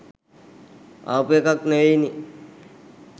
ආපු එකක් නෙවෙයිනෙ.